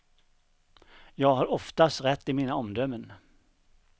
Jag har oftast rätt i mina omdömen.